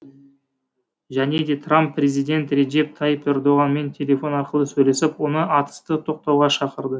және де трамп президент реджеп тайып ердоғанмен телефон арқылы сөйлесіп оны атысты тоқтауға шақырды